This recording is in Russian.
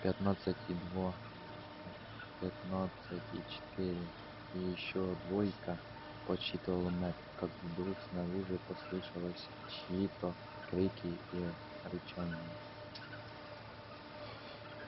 пятнадцать и два пятнадцать и четыре и ещё двойка подсчитывал мэтт как вдруг снаружи послышалась чьи то крики и рычание